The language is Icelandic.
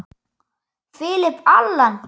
Philip Allan.